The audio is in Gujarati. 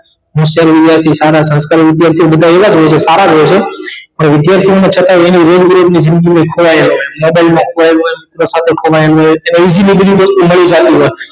હોશિયાર વિધાર્થી સારા સંસ્કારી વિધાર્થી બધા એવા જ હોય છે બધા સારા જ હોય છે વિધાર્થી માં છતાં એની રોજબરોજ ની જિંદગી માં ખોવાયેલા મોબાઈલ માં ખોવાયેલ હોય માં ખોવાયેલ હોય તેવી જુદી જુદી વસ્તુ મળી જાતિ હોય